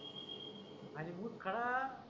आणि मुतखडा